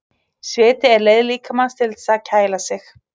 Sviti er leið líkamans til þess að kæla sig.